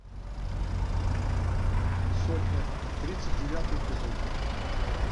сотня тридцать девятый эпизод